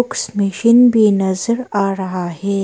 Machine भी नजर आ रहा है।